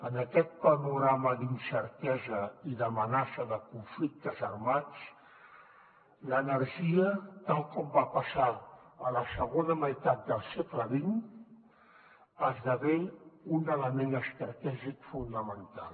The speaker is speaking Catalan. en aquest panorama d’incertesa i d’amenaça de conflictes armats l’energia tal com va passar a la segona meitat del segle xx esdevé un element estratègic fonamental